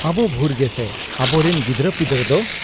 ᱟᱵᱚ ᱵᱷᱩᱨ ᱜᱮᱥᱮ ᱾ ᱟᱵᱚᱨᱤᱱ ᱜᱤᱫᱽᱨᱟᱹᱯᱤᱫᱽᱨᱟᱹ ᱫᱚ ?